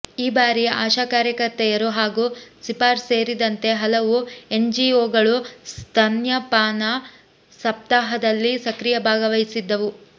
ಈ ಬಾರಿ ಆಶಾಕಾರ್ಯಕರ್ತೆಯರು ಹಾಗೂ ಸಿಫಾರ್ ಸೇರಿದಂತೆ ಹಲವು ಎನ್ಜಿಒಗಳು ಸ್ತನ್ಯಪಾನ ಸಪ್ತಾಹದಲ್ಲಿ ಸಕ್ರಿಯ ಭಾಗವಹಿಸಿದ್ದವು